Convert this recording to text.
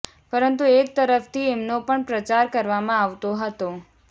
પરંતુ એક તરફથી એમનો પણ પ્રચાર કરવામાં આવતો હતો